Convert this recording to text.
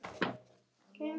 Öll lesa.